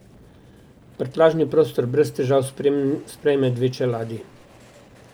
Prtljažni prostor brez težav sprejme dve čeladi.